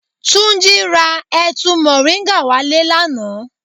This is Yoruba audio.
Túnjí ra ẹ̀tu moringa wá le lánàá.